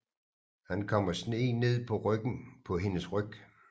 Han kommer sne ned på hendes ryg